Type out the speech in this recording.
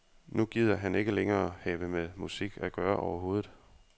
Nu gider han ikke længere have med musik at gøre overhovedet.